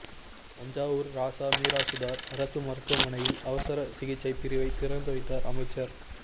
தஞ்சாவூர் ராசா மிராசுதார் அரசு மருத்துவமனையில் அவசர சிகிச்சை பிரிவை திறந்துவைத்தார் அமைச்சர்